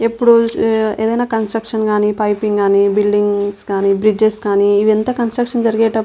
ఎప్పుడు ఏదైనా కన్స్ట్రక్షన్స్ కానీ బిల్డింగ్స్ కానీ బ్రిడ్జెస్ కానీ ఇవన్నీ కన్స్ట్రక్షన్ జరిగేటప్పుడు --